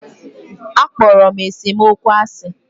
A kpọrọ m esemokwu asi